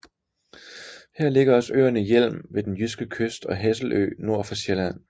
Her ligger også øerne Hjelm ved den jyske kyst og Hesselø nord for Sjælland